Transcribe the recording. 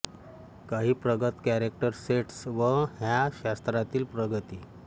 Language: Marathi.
काही प्रगत कॅरॅक्टर सेटस् व ह्या शास्त्रातील प्रगती